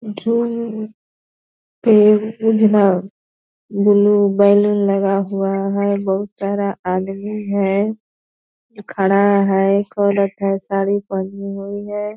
झूम उजला blue balloon लगा हुआ है बहुत सारा आदमी है खड़ा है एक औरत है साड़ी पहनी हुई है।